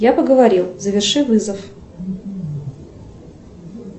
я поговорил заверши вызов